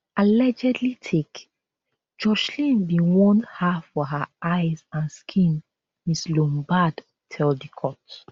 [allegedly take] joshlin bin want her for her eyes and skin ms lombaard tell di court